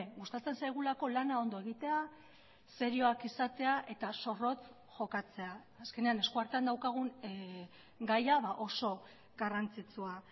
gustatzen zaigulako lana ondo egitea serioak izatea eta zorrotz jokatzea azkenean eskuartean daukagun gaia oso garrantzitsua